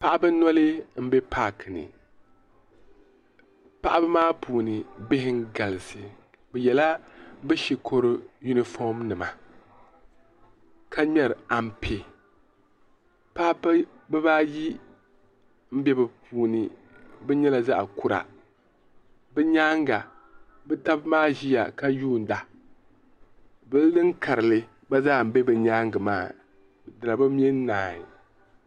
paɣaba noli m-be paaki ni paɣaba maa puuni bihi n-galisi bɛ yela bɛ shikuru yunifom nima ka ŋmɛri ampe paɣaba bɛ baayi m-be bɛ puuni ban nyɛla zaɣ' kura bɛ nyaaga bɛ taba maa ʒiya ka yuunda buldin karili gba zaa be bɛ nyaaga maa di na bi mɛ n-naai.